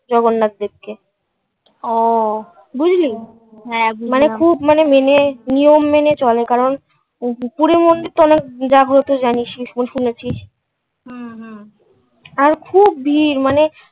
জগন্নাথ দেবকে বুঝলি? হ্যাঁ মানে খুব মানে মেনে নিয়ম মেনে চলে কারণ পুরীর মন্দির তো অনেক জাগ্রত জানিস্, শুনেছিস. হুম হুম. আর খুব ভিড় মানে খুব মানে